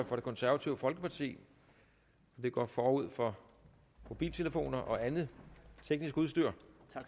for det konservative folkeparti det går forud for mobiltelefoner og andet teknisk udstyr